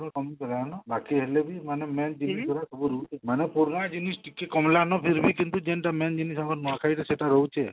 ବାକି ହେଲେ ବି ମାନେ main ସବୁରୁ ମାନେ ପୁରୁନା ଜିନିଷ ଟିକି କମଲାନ ଫିରଭି କିନ୍ତୁ main ଜିନିଷ ଆମର ନୂଆଖାଇର ସେଟା ରହୁଛି ଆଉ